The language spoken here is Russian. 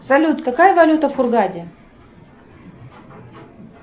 салют какая валюта в хургаде